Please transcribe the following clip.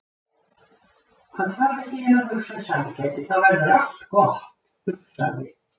Hann þarf ekki nema að hugsa um sælgæti þá verður allt gott, hugsaði